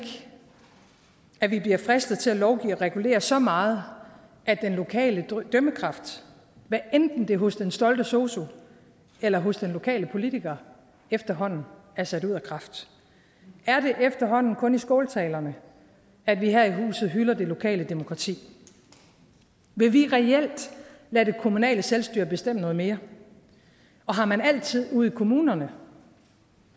at vi bliver fristet til at lovgive og regulere så meget at den lokale dømmekraft hvad enten det er hos den stolte sosu eller hos den lokale politiker efterhånden er sat ud af kraft er det efterhånden kun i skåltalerne at vi her i huset hylder det lokale demokrati vil vi reelt lade det kommunale selvstyre bestemme noget mere og har man altid ude i kommunerne